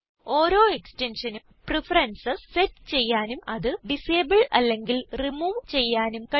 ഓരോ എക്സ്റ്റെൻഷൻ നും preferences set ചെയ്യാനും അത് ഡിസേബിൾ അല്ലെങ്കിൽ റിമൂവ് ചെയ്യാനും കഴിയും